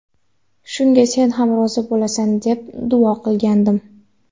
Shunga senam rozi bo‘lasan”, deb duo qilgandim.